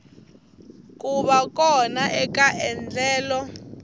ku va kona eka endlelo